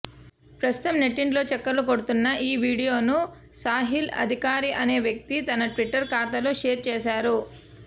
ప్రస్తుతం నెట్టింట్లో చక్కర్లు కొడుతున్న ఈ వీడియోను సాహిల్ అధికారి అనే వ్యక్తి తన ట్విటర్ ఖాతాలో షేర్ చేశారు